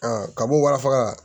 kab'o walafaga